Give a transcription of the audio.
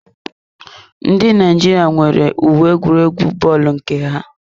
Ndị Naijiria nwere uwe egwuregwu bọọlu nke ha.